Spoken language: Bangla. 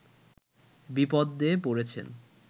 বিপদে পড়েছেন